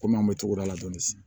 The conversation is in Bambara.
Kɔmi an bɛ togoda la dɔɔnin sisan